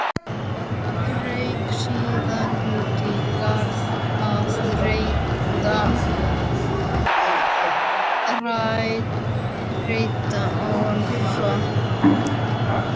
Rauk síðan út í garð að reyta arfa.